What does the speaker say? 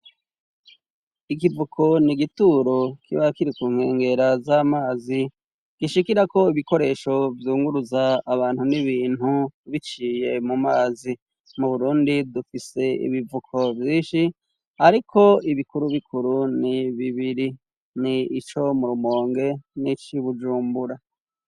Ikivuko ni igituro kiba kiri ku nkengera z'amazi, gishikirako ibikoresho vyunguruza abantu n'ibintu biciye mu mazi. Mu Burundi dufise ibivuko vyinshi ariko ibikuru bikuru ni bibiri: ni ico mu Rumonge n'ic' i Bujumbura.